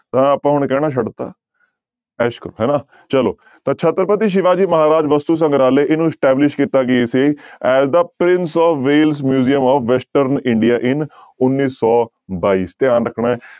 ਤਾਂ ਆਪਾਂ ਹੁਣ ਕਹਿਣਾ ਛੱਡ ਦਿੱਤਾ ਐਸ ਕਰੋ ਹਨਾ ਚਲੋ ਤਾਂ ਛਤਰਪਤੀ ਸਿਵਾ ਜੀ ਮਹਾਰਾਜ ਵਸਤੂ ਸੰਗਰਾਲਹ ਇਹਨੂੰ establish ਕੀਤਾ ਗਿਆ ਸੀ as the prince of Wales museum of western india in ਉੱਨੀ ਸੌ ਬਾਈ ਧਿਆਨ ਰੱਖਣਾ ਹੈ,